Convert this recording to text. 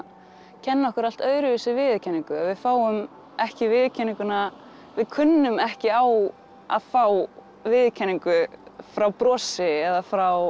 kenna okkur allt öðruvísi viðurkenningu við fáum ekki viðurkenninguna við kunnum ekki á að fá viðurkenningu frá brosi eða frá